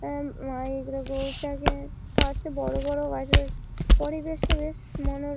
পশে বড় বড় গাছ রয়ে পরিবেশটা বেশ মনোর--